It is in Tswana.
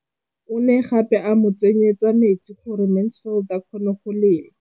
O ne gape a mo tsenyetsa metsi gore Mansfield a kgone go lema.